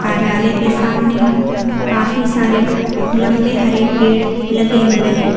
कार्यालय के सामने काफी सारे लंबे हरे पेड़ लगे हुए हैं।